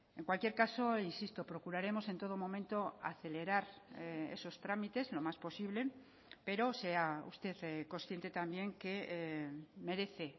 en cualquier caso insisto procuraremos en todo momento acelerar esos trámites lo más posible pero sea usted consciente también que merece